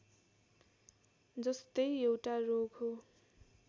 जस्तै एउटा रोग हो